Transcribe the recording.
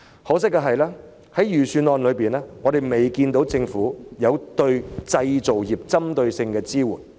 可惜的是，我們並未看到政府在預算案中對製造業提供針對性的支援。